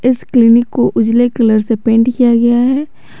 इस क्लिनिक को उजले कलर से पेंट किया गया है।